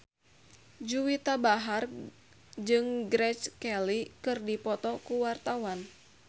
Juwita Bahar jeung Grace Kelly keur dipoto ku wartawan